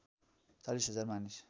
४० हजार मानिस